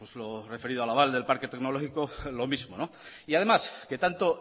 lo referido al aval del parque tecnológico lo mismo y además que tanto